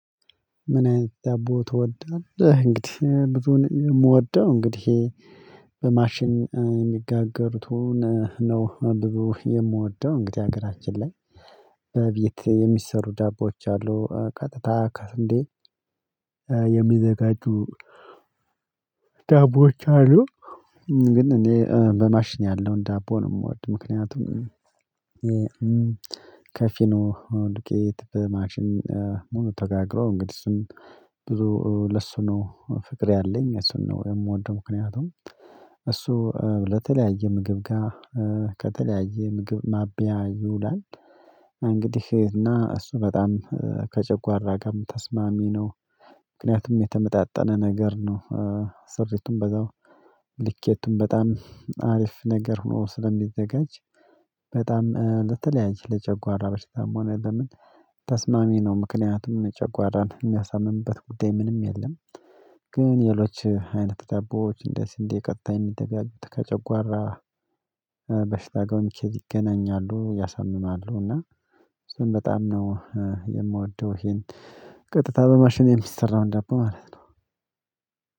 ምን አይነት ደቦ ትወዳለህ? እንግዲህ ብዙን የምወደው እንግዲህ በማሽን የሚጋገሩትን ነው ብዙ የምወደው እንግዲህ ሀገራችን ላይ በቤት የሚሰሩ ዳቦች አሉ ቀጥታ ካስንዴ የሚዘጋጁ ዳቦዎች አሉ። ግን እኔ በማሽኝ ያለውን ዳቦ ነው የምወድ ምክንያቱም ከፉርኖ ዱቄት በማሽን ሙሉ ተጋግሮ እንግዲህ እሱን ብዙ ለእሱ ነው ፍቅር ያለኝ እሱን ነው የምወደው። ምክንያቱም እሱ ለተለያየ ምግብ ጋር ከተለያየ ምግብ ማቢያ ይውላል እንግዲህ እና እሱ በጣም ከጨጓራ ጋርም ተስማሚ ነው። ምክንያቱም የተመጣጠነ ነገር ነው ሰሪቱን በዛው ልኬቱም በጣም አሪፍ ነገር ሆኖ ስለሚዘጋጅ በጣም ለተለያየ ለጨጓራ በሽታም ሆነ ለምን ተስማሚ ነው ምክንያቱም ጨጓራን የሚያሳምምበት ጉዳይ ምንም የለም። ግን ሌሎች አይነት ደቦዎች እንደ ሲንዴ ቀጥታ የሚጠብያቸው ከጨጓራ በሽታ ጎን ኬዝ ይገናኛሉ ያሳምማሉ እና እሱን በጣም ነው የምወደው። ይሄን ቀጥታ በማሽኔ የሚሰራውን ዳቦ ማለት ነው።